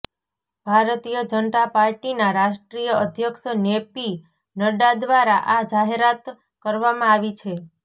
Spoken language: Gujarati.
ભારતીય જનતા પાર્ટીના રાષ્ટ્રીય અધ્યક્ષ જેપી નડ્ડા દ્વારા આ જાહેરાત કરવામાં આવી છે